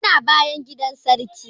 Yana bayan gidan sarki